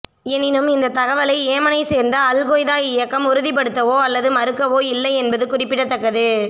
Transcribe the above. எனினும் இந்த தகவலை ஏமனை சேர்ந்த அல் கொய்தா இயக்கம் உறுதிப்படுத்தவோ அல்லது மறுக்கவோ இல்லை என்பது குறிப்பிடத்தக்கது